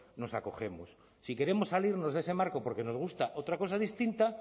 nos acogemos si queremos salirnos de ese marco porque nos gusta otra cosa distinta